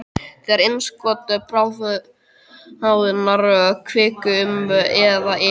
Þegar innskot bráðinnar kviku, um eða yfir